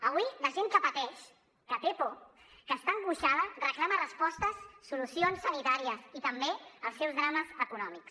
avui la gent que pateix que té por que està angoixada reclama respostes solucions sanitàries també als seus drames econòmics